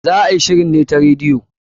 Za a yi shirin ne ta radiyo.